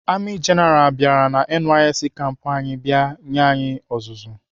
Amị jenaral bịara NYSC kampu anyị bịa nye anyị ọzụzụ.